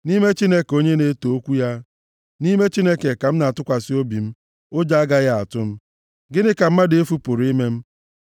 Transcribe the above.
Nʼime Chineke onye m na-eto okwu ya, nʼime Chineke ka m na-atụkwasị obi; ụjọ agaghị atụ m. Gịnị ka mmadụ efu pụrụ ime m?